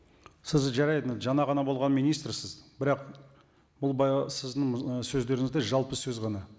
сіз жарайды жаңа ғана болған министрсіз бірақ бұл сіздің ы сөздеріңіз де жалпы сөз ғана